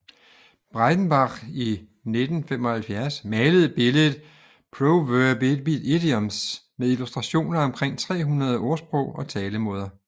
Breitenbach i 1975 malede billedet Proverbidioms med illustrationer af omkring 300 ordsprog og talemåder